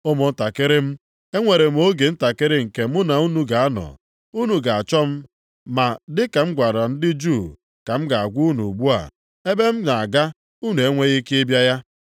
“Ụmụntakịrị m, enwere m oge ntakịrị nke mụ na unu ga-anọ. Unu ga-achọ m, ma dị ka m gwara ndị Juu ka m na-agwa unu ugbu a. Ebe m na-aga unu enweghị ike ịbịa ya.